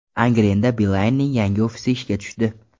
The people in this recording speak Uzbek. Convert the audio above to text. Angrenda Beeline’ning yangi ofisi ishga tushdi.